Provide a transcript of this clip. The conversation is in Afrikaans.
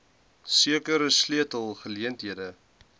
sekere sleutel geleenthede